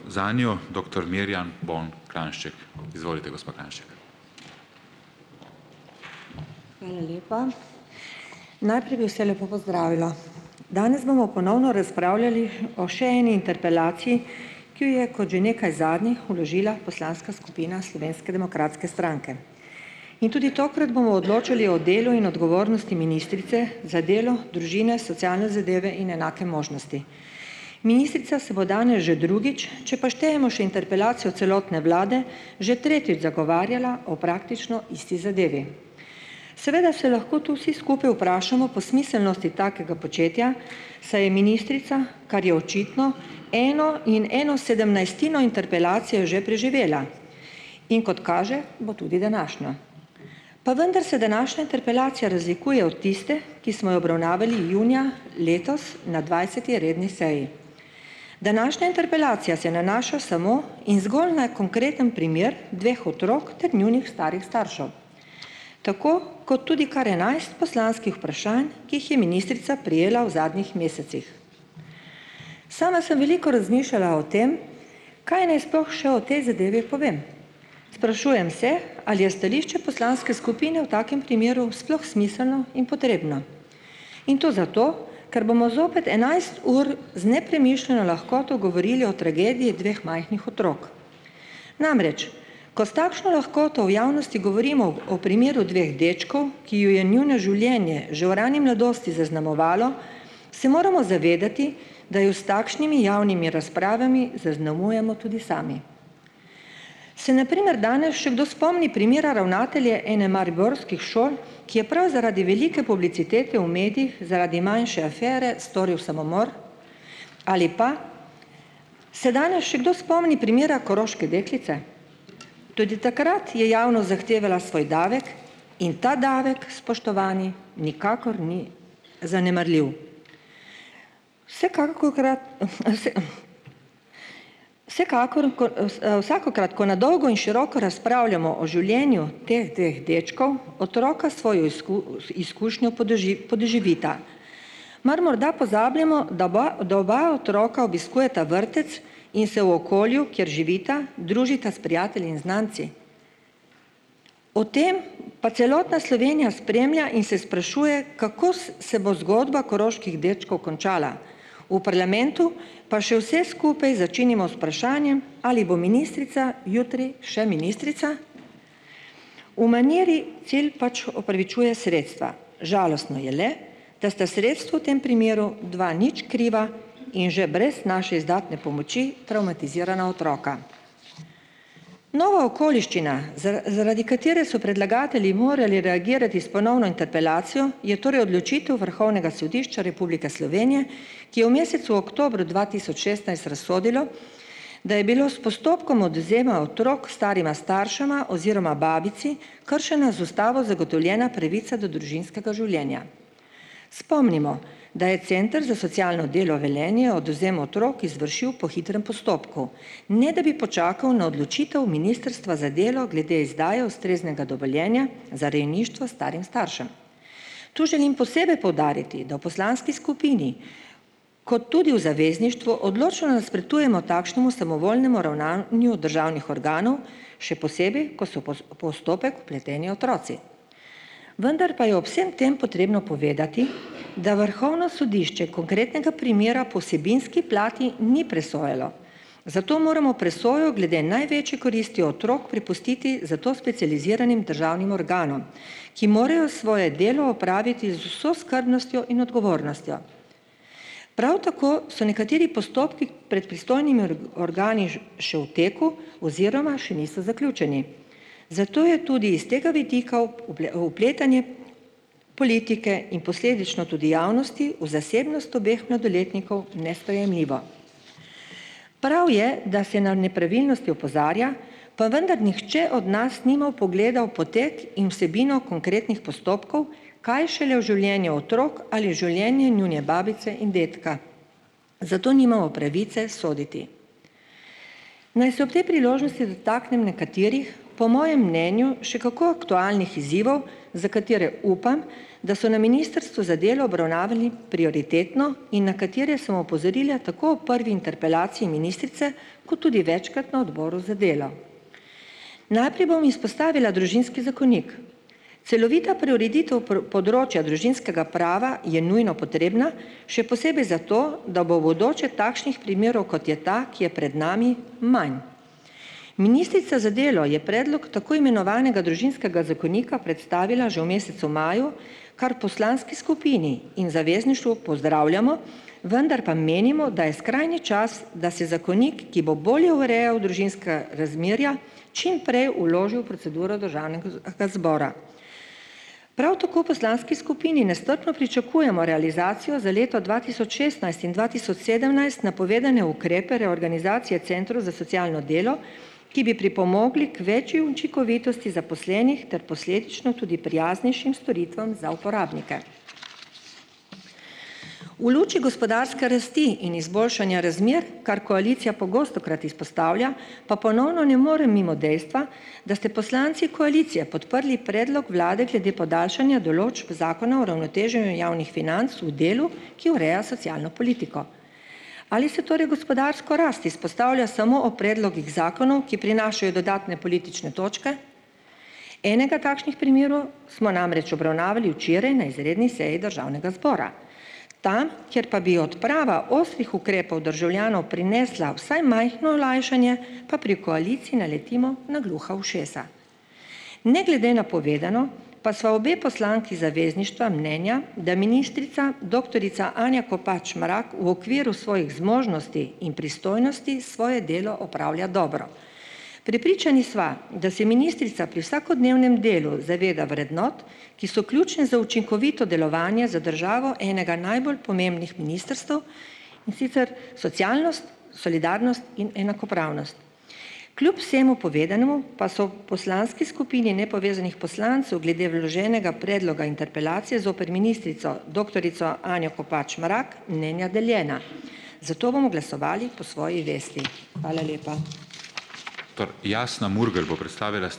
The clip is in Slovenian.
Lepa. Bi vse lepo pozdravila! Danes bomo ponovno razpravljali o še eni interpelaciji, kot že nekaj zadnjih vložila poslanska skupina Slovenske demokratske stranke. In tudi tokrat bomo odločili o delu in odgovornosti ministrice za delo, družine, socialne zadeve in enake možnosti. Se bo danes že drugič, če pa štejemo še interpelacijo celotne vlade, že tretjič zagovarjala o praktično isti zadevi. Seveda se lahko to vsi skupaj vprašamo po smiselnosti takega početja, saj je ministrica, kar je očitno, eno in eno sedemnajstino interpelacije že preživela, in kot kaže, bo tudi današnjo. Pa vendar se današnja interpelacija razlikuje od tiste, ki smo jo obravnavali junija letos na dvajseti redni seji. Današnja interpelacija se nanaša samo in zgolj na konkretni primer dveh otrok ter njunih starih staršev, tako kot tudi kar enajst poslanskih vprašanj, ki jih je ministrica prejela v zadnjih mesecih. Sama sem veliko razmišljala o tem, kaj naj sploh še o tej zadevi povem. Sprašujem se, ali je stališče poslanske skupine v takem primeru sploh smiselno in potrebno, in to zato, ker bomo zopet enajst ur lahkoto govorili o tragediji dveh majhnih otrok. Namreč, ko s takšno lahkoto v javnosti govorimo o primeru dveh dečkov, ki jo je njuno življenje že v rani mladosti zaznamovalo, se moramo zavedati, da jo s takšnimi javnimi razpravami zaznamujemo tudi sami. Se na primer danes še kdo spomni primera ravnatelja ene mariborskih šol, ki je prav zaradi velike publicitete v medijih zaradi manjše afere storil samomor, ali pa, se danes še kdo spomni primera koroške deklice? Tudi takrat je javnost zahtevala svoj davek in ta davek, spoštovani, nikakor ni zanemarljiv. Vsekakor, vsakokrat, ko na dolgo in široko razpravljamo o življenju teh dveh dečkov, otroka svojo izkušnjo podoživita. Mar morda pozabljamo, da bi, da oba otroka obiskujeta vrtec in se v okolju, kjer živita, družita s prijatelji in znanci? O tem pa celotna Slovenja spremlja in se sprašuje, kako se bo zgodba koroških dečkov končala, v parlamentu pa še vse skupaj začinim z vprašanjem, ali bo ministrica jutri še ministrica. V maniri cilj pač opravičuje sredstva. Žalostno je le, da sta sredstvo tem primeru dva nič kriva in že brez naše izdatne pomoči travmatizirana otroka. Nova okoliščina zaradi katere so predlagatelji morali reagirati s ponovno interpelacijo, je torej odločitev Vrhovnega sodišča Republike Slovenje, ki je v mesecu oktobru dva tisoč šestnajst razsodilo, da je bilo s postopkom odvzema otrok starima staršema oziroma babici kršena z ustavo zgotovljena pravica do družinskega življenja. Spomnimo, da je center za socialno delo Velenje odvzem otrok izvršil po hitrem postopku, ne da bi počakal na odločitev Ministrstva za delo glede izdaje ustreznega dovoljenja za rejništvo starim staršem. Tu želim posebej poudariti, da v poslanski skupini ko tudi v zavezništvu odločno nasprotujemo takšnemu samovoljnemu državnih organov, še posebej ko so postopek vpleteni otroci. Vendar pa je ob vsem tem potrebno povedati, da Vrhovno sodišče primera po vsebinski plati ni presojalo, zato moramo presojo glede največjih koristi otrok prepustiti za to specializiranim državnim organom, ki morejo svoje delo opraviti z vso skrbnostjo in odgovornostjo. Prav tako so nekateri postopki pred organi še v teku oziroma še niso zaključeni. Zato je tudi iz tega vidika vpletanje politike in tudi javnosti v zasebnost obeh mladoletnikov nesprejemljivo. Prav je, da se na nepravilnosti opozarja, pa vendar nihče od nas nima vpogleda v potek in vsebino konkretnih postopkov, kaj šele v življenju otrok ali življenje njune babice in dedka, zato nimamo pravice soditi. Naj se ob te dotaknem nekaterih, po mojem mnenju še kako aktualnih izzivov, za katere upam, da so na Ministrstvu za delo obravnavali prioritetno in na katere sem opozorila tako o prvi interpelaciji ministrice ko tudi večkrat na Odboru za delo. Najprej bom izpostavila Družinski zakonik, celovita preureditev področja družinskega prava je nujno potrebna, še posebej zato, da bo bodoče takšnih primerov, kot je ta, ki je pred nami, manj. Ministrica z delo je predlog tako imenovanega Družinskega zakonika predstavila že v mesecu maju, kar poslanski skupini in Zavezništvu pozdravljamo, vendar pa menimo, da je skrajni čas, da se zakonik, ki bo bolje urejal družinska razmerja, čim prej vložil proceduro. Prav tako poslanski skupini nestrpno pričakujemo realizacijo za leto dva tisoč šestnajst in dva tisoč sedemnajst napovedane ukrepe reorganizacije centrov za socialno delo, ki bi pripomogli k več učinkovitosti zaposlenih ter posledično tudi prijaznejšim storitvam za uporabnike. V luči gospodarske rasti in izboljšanja razmer, kar koalicija pogostokrat izpostavlja, pa ponovno ne morem mimo dejstva, da ste poslanci koalicije podprli predlog vlade glede podaljšanja določb javnih financ v delu, ki ureja socialno politiko. Ali se torej gospodarsko rast izpostavlja samo o predlogih zakonov, ki prinašajo dodatne politične točke, enega takšnih primerov smo namreč obravnavali včeraj na izredni seji državnega zbora. Tam, kjer pa bi odprava ostrih ukrepov državljanov prinesla vsaj majhno olajšanje, pa pri koaliciji naletimo na gluha ušesa. Ne glede na povedano pa sva obe poslanki Zavezništva mnenja, da ministrica doktorica Anja Kopač Mrak v okviru svojih zmožnosti in pristojnosti svoje delo opravlja dobro. Prepričani sva, da si ministrica pri vsakodnevnem delu zaveda vrednot, ki so ključne za učinkovito delovanje za državo enega najbolj pomembnih ministrstev, in sicer socialnost, solidarnost in enakopravnost. Kljub vsemu povedanemu pa so poslanski skupini nepovezanih poslancev glede vloženega predloga interpelacije zoper ministrico doktorico Anjo Kopač Mrak mnenja deljena, zato bomo glasovali po svoji vesti .